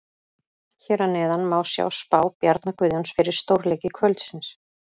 Hér að neðan má sjá spá Bjarna Guðjóns fyrir stórleiki kvöldsins.